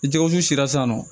I tɛgɛw dusu san nɔ